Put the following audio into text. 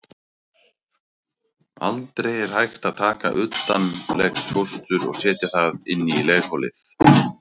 Aldrei er hægt að taka utanlegsfóstur og setja það inn í legholið.